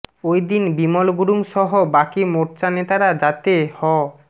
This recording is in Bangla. ওইদিন বিমল গুরুং সহ বাকি মোর্চা নেতারা যাতে হ